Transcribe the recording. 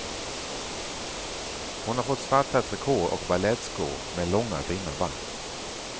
Hon har fått svarta trikåer och balettskor med långa fina band.